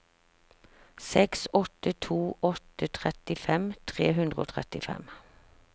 seks åtte to åtte trettifem tre hundre og trettifem